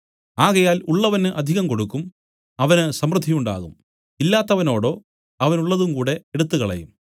ആകയാൽ ഉള്ളവന് അധികം കൊടുക്കും അവന് സമൃദ്ധിയുണ്ടാകും ഇല്ലാത്തവനോടോ അവനുള്ളതും കൂടെ എടുത്തുകളയും